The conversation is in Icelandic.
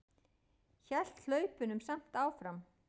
Hélt hlaupunum samt áfram.